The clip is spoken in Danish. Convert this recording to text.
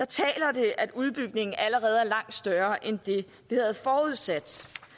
taler det at udbygningen allerede er langt større end det vi havde forudsat